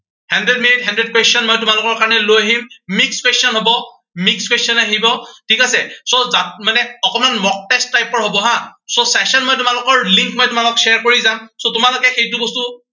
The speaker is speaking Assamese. hundred minutes hundred question মই তোমালোকৰ কাৰণে লৈ আহিম। mixed question হব mixed question থাকিব, ঠিক আছে। so তাত মানে অকনমান mock test ৰ হব হা। so session মই তোমালোকৰ link মই তোমালোকৰ share কৰি যাম। so তোমালোকে সেইটো বস্তু